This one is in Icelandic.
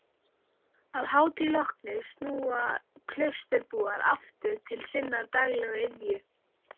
Að hátíð lokinni snúa klausturbúar aftur til sinnar daglegu iðju.